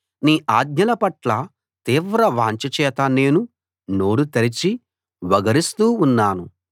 నీ ఆజ్ఞలపట్ల తీవ్ర వాంఛ చేత నేను నోరు తెరచి వగరుస్తూ ఉన్నాను